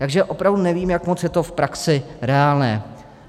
Takže opravdu nevím, jak moc je to v praxi reálné.